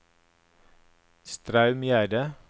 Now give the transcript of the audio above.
Straumgjerde